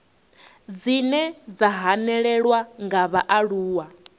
dzine dza hanelelwa nga vhaaluwa